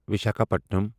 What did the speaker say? Visakhapatnam